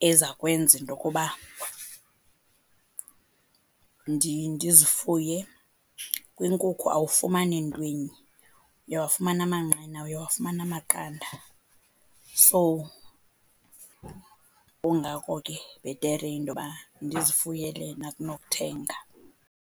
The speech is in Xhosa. eza kwenza into yokuba ndizifuye, kwinkukhu awufumani ntwinye, uyawafumana amanqina, uyawafumana amaqanda. So, kungako ke bhetere into yoba ndizifuyele mna kunokuthenga.